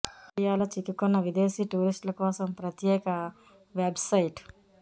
ఇండియాలో చిక్కుకున్న విదేశీ టూరిస్టుల కోసం ప్రత్యేక వెబ్ సైట్